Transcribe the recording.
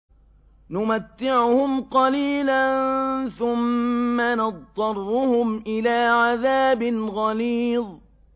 نُمَتِّعُهُمْ قَلِيلًا ثُمَّ نَضْطَرُّهُمْ إِلَىٰ عَذَابٍ غَلِيظٍ